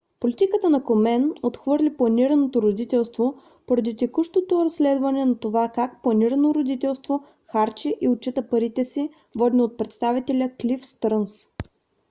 политиката на комен отхвърли планираното родителство поради текущото разследване за това как планирано родителство харчи и отчита парите си водено от представителя клиф стърнс